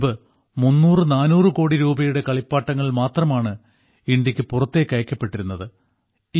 മുൻപ് 300400 കോടി രൂപയുടെ കളിപ്പാട്ടങ്ങൾ മാത്രമാണ് ഇന്ത്യക്ക് പുറത്തേക്ക് അയക്കപ്പെട്ടിരുന്നത്